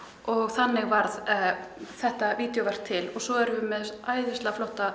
þannig varð þetta til og svo erum við með þessa æðislega flottu